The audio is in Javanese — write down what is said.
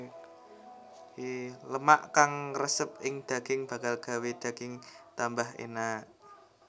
Lemak kang ngresep ing daging bakal gawé daging tambah enak